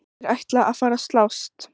Þeir ætla að fara að slást!